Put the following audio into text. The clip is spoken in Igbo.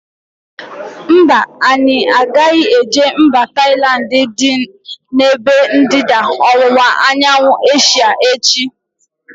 Mba, anyị agaghị eje mba Tailandi dị n'ebe ndịda ọwụwa anyanwụ Asia echi